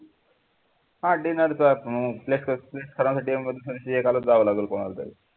हा dinner एकाला जावं लागेल कोणालातरी